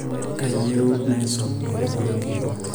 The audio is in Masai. kaiyieu naisom lomon ngejuko